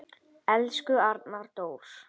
Elsku Arnar Dór.